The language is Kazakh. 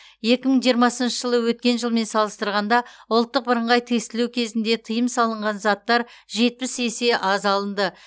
екі мың жиырмасыншы жылы өткен жылмен салыстырғанда ұлттық бірыңғай тестілеу кезінде тыйым салынған заттар жетпіс есе аз алынды